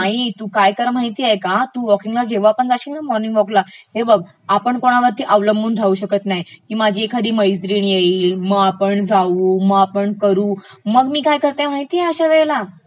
नाही, तुम्ही काय करा माहितेय का, तू वॉकींगला जेव्हा पण जाशील ना मॉर्निंग वॉकले, हे बघ आपण कोणावरती अवलंबून राहू शकत नाही की माझी एखादी मैत्रिण येईल मं आपण जाऊ, मं आपण करू मग मी काय करते माहितेय अश्यावेळेला?